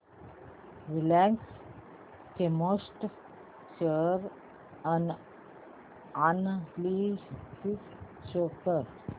Reliance Chemotex share analysis show कर